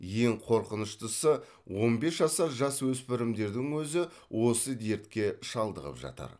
ең қорқыныштысы он бес жасар жасөспірімдердің өзі осы дертке шалдығып жатыр